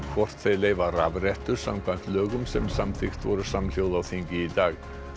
hvort þeir leyfa rafrettur samkvæmt lögum sem samþykkt voru samhljóða á þingi í dag